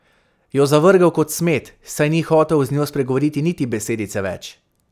Jo zavrgel kot smet, saj ni hotel z njo spregovoriti niti besedice več.